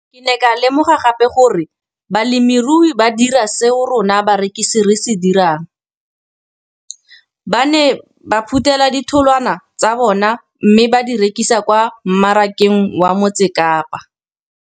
Ke ne ka lemoga gape gore balemirui ba dira seo rona barekisi re se dirang, ba ne ba phuthela ditholwana tsa bona mme ba di rekisa kwa marakeng wa Motsekapa.